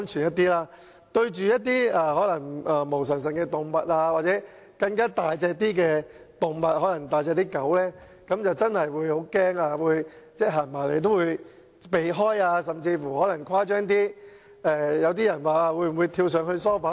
面對一些毛茸茸的動物或體型較大的動物，例如大型犬隻，我真的會很害怕，牠們走過來我便會避開，甚至曾誇張地跳上沙發。